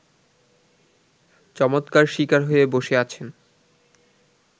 চমৎকার শিকার হয়ে বসে আছেন